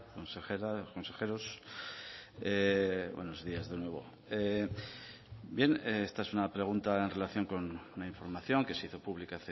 consejera consejeros buenos días de nuevo bien esta es una pregunta en relación con una información que se hizo pública